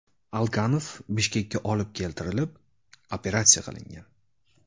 Alkanov Bishkekka olib keltirilib, operatsiya qilingan.